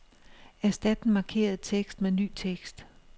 Erstat den markerede tekst med ny tekst.